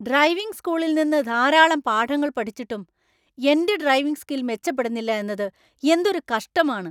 Driving സ്‌കൂളിൽ നിന്ന് ധാരാളം പാഠങ്ങൾ പഠിച്ചിട്ടും എന്‍റെ ഡ്രൈവിംഗ് സ്കിൽ മെച്ചപ്പെടുന്നില്ല എന്നത് എന്തൊരു കഷ്ടമാണ്.